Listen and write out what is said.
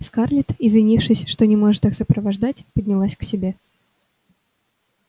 скарлетт извинившись что не может их сопровождать поднялась к себе